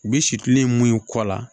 U bɛ situlu ye mun kɔ la